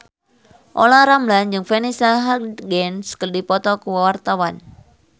Olla Ramlan jeung Vanessa Hudgens keur dipoto ku wartawan